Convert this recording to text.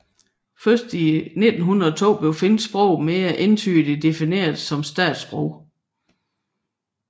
Først i 1902 blev finsk sprog mere entydig defineret som statssprog